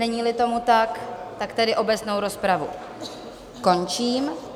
Není-li tomu tak, tedy obecnou rozpravu končím.